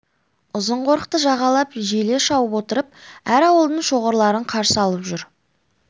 ұзын қорықты жағалап желе шауып отырып әр ауылдың шоғырларын қарсы алып жүр